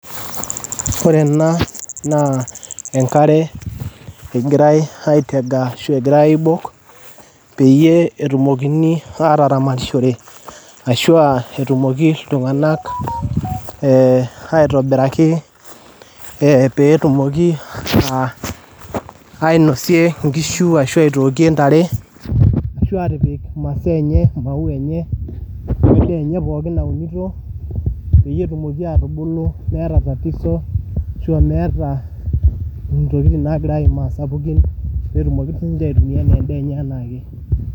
Ore ena naa enkare egirai aitega ashu egirai aibok peyie etumokini aataramatishore asho etumoki ltunganak aitobiraki peetumoki ainosie inkishu asho aitookie intare ashu epik masaa enye maua enye o endaa enye pooki naunito peye etumoki atubulu emeeta batisho ashu emeeta ntokitin nagira aimaa sapukin peetumoki sii ninche aitumiya endee enye enaake